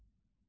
Qubadlı.